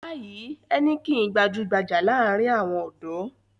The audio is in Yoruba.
Báì Heineken gbajú-gbajà láàárin àwọn ọ̀dọ́.